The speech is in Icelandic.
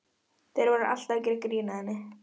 Þeir voru alltaf að gera grín að henni.